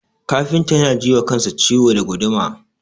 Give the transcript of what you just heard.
Kafintan yana ji wa kansa ciwo da guduma.